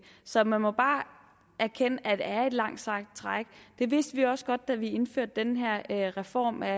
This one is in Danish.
så man må bare erkende at det er et langt sejt træk det vidste vi også godt da vi indførte den her reform af